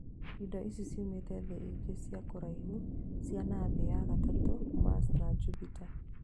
Indo ici ciumĩte thĩ ingĩ cia kũraihu cia na thĩ ya gatatũ Mars na Jupita